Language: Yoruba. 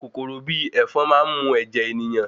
Kòkòrò bi ẹ̀ẹ̀fọn máa n mu ẹ̀jẹ̀ ènìyàn